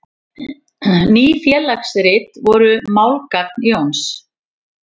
Ný félagsrit voru málgagn Jóns.